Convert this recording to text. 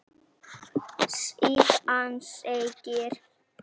Síðan segir: